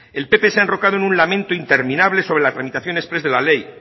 el pp se ha enrocado en un lamento interminable sobre la tramitación exprés de la ley